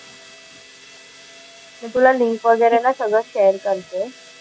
मी तुला लिंक वगैरे ना सगळं शेअर करते.